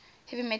heavy metal bands